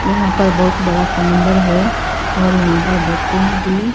यहां पर बहुत बड़ा समुंदर है और यहां पर बोटिंग भी--